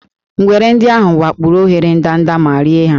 Ngwere ndị ahụ wakporo óghéré ndanda ma rie ha